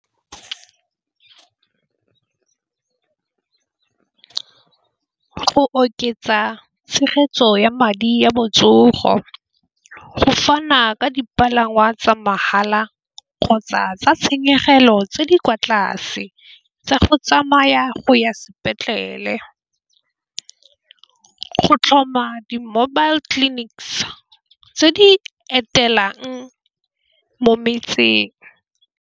Go oketsa tshegetso ya madi ya botsogo go fana ka dipalangwa tsa mahala kgotsa tsa tshenyegelo tse di kwa tlase tsa go tsamaya go ya sepetlele, go tlhoma di-mobile clinics tse di etelwang mo metseng.